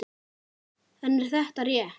En er þetta rétt?